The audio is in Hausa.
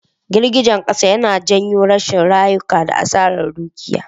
Girgizan Kasa yana janyo rasa rayuka da Asarar Dukiya.